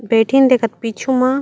बेठीन दिखत पिछु मा--